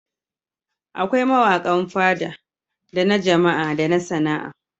Akwai mawaƙan Fada da na Jama'a da na Sana'a.